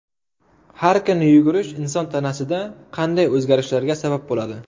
Har kuni yugurish inson tanasida qanday o‘zgarishlarga sabab bo‘ladi?.